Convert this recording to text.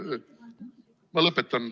Ma lõpetan.